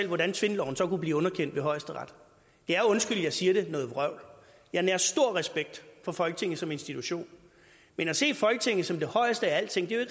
hvordan tvindloven så kunne blive underkendt ved højesteret det er undskyld jeg siger det noget vrøvl jeg nærer stor respekt for folketinget som institution men at se folketinget som det højeste af alting er